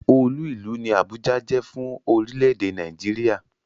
Olú ìlú ni Àbújá jẹ́ fún orílẹ̀-èdè Nàìjíríà.